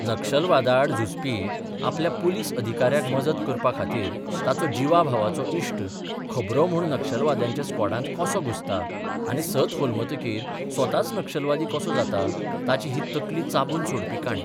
नक्षलवादाआड झुजपी आपल्या पुलीस अधिकाऱ्याक मजत करपा खातीर ताचो जिवाभावाचो इश्ट खबरो म्हूण नक्षलवाद्यांच्या स्क्वॉडांत कसो घुसता आनी सत होलमतकीर स्वताच नक्षलवादी कसो जाता ताची ही तकली चाबून सोडपी काणी.